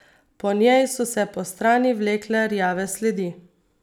Po njej so se postrani vlekle rjave sledi.